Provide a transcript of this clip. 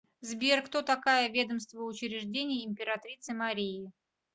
сбер кто такая ведомство учреждений императрицы марии